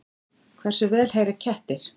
Hversu vel heyra kettir?